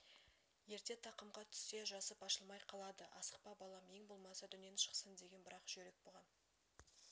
ерте тақымға түссе жасып ашылмай қалады асықпа балам ең болмаса дөнен шықсын деген бірақ жүйрік бұған